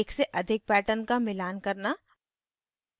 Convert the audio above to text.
एक से अधिक pattern का मिलान करना